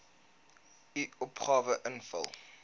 u opgawe invul